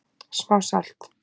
Smá salt